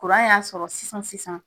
y'a sɔrɔ sisan sisan.